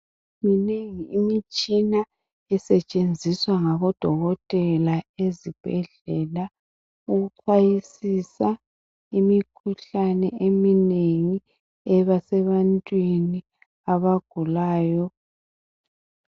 Minengi imitshina esetshenziswa ngaboDokotela ezibhedlela ukuchwayisisa imikhuhlane eminengi eba sebantwini abagulayo.